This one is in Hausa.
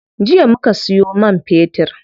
Jiya muka siyo man fetir.